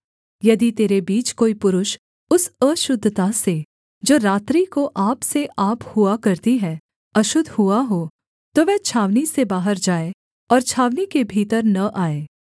यदि तेरे बीच कोई पुरुष उस अशुद्धता से जो रात्रि को आप से आप हुआ करती है अशुद्ध हुआ हो तो वह छावनी से बाहर जाए और छावनी के भीतर न आए